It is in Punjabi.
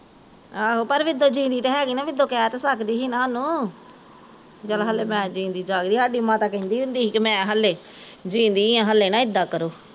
ਆਹੋ ਪਰ ਮਿਦੋਂ ਜੀਂਦੀ ਤਾਂ ਹੈਗੀ ਨਾ ਮਿੰਦੋ ਕਹਿ ਤਾਂ ਸਕਦੀ ਸੀ ਨਾ ਹਮ ਓਹਨੂ ਵੀ ਚੱਲ ਮੈਂ ਜੀਂਦੀ ਜਾਗਦੀ ਸਾਡੀ ਮਾਤਾ ਕਹਿੰਦੀ ਹੁੰਦੀ ਸੀ ਮੈਂ ਹਲੇ ਜੀਂਦੀ ਆ ਹਲੇ ਨਾ ਇੱਦਾਂ ਕਰੋ